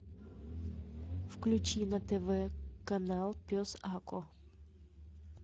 включи на тв канал пес ако